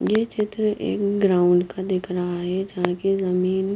यह क्षेत्र एवं ग्राउंड का दिख रहा है जहा की जमीन--